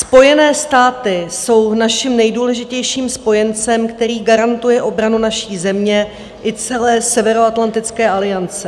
Spojené státy jsou naším nejdůležitějším spojencem, který garantuje obranu naší země i celé Severoatlantické aliance.